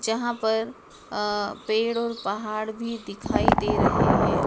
जहाँ पर अ एक पेड़ ओढ़ और पहाड़ भी दिखाइ दे रहे है।